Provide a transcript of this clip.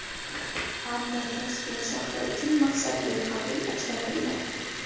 Ammo Toshkent shahri uchun maqsadli qabul ajratilmagan.